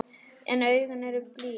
En augun eru blíð.